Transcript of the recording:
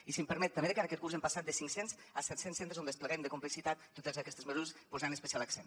i si m’ho permet també de cara a aquest curs hem passat de cinc cents a setcents centres de complexitat on despleguem totes aquestes mesures posant hi especial accent